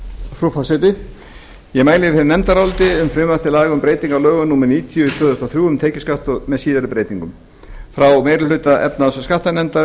frú forseti ég mæli fyrir nefndaráliti um frumvarp til laga um breyting á lögum númer níutíu tvö þúsund og þrjú um tekjuskatt með síðari breytingum frá meiri hluta efnahags og skattanefndar